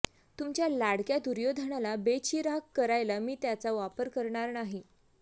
तुमच्या लाडक्या दुर्योधनाला बेचिराख करायला मी त्याचा वापर करणार नाही